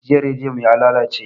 Jiya rediyo mu yalalace